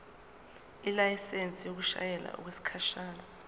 ilayisensi yokushayela okwesikhashana